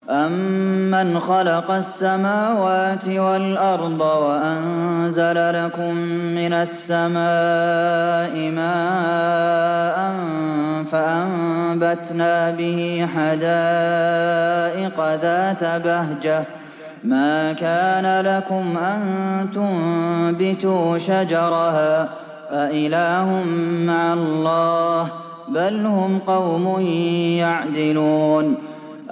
أَمَّنْ خَلَقَ السَّمَاوَاتِ وَالْأَرْضَ وَأَنزَلَ لَكُم مِّنَ السَّمَاءِ مَاءً فَأَنبَتْنَا بِهِ حَدَائِقَ ذَاتَ بَهْجَةٍ مَّا كَانَ لَكُمْ أَن تُنبِتُوا شَجَرَهَا ۗ أَإِلَٰهٌ مَّعَ اللَّهِ ۚ بَلْ هُمْ قَوْمٌ يَعْدِلُونَ